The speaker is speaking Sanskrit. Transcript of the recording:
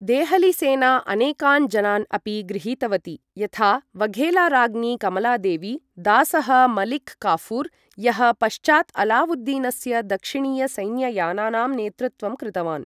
देहलीसेना अनेकान् जनान् अपि गृहीतवती यथा वघेलाराज्ञी कमलादेवी, दासः मलिक् काफूर्, यः पश्चात् अलावुद्दीनस्य दक्षिणीय सैन्ययानानां नेतृत्वं कृतवान्।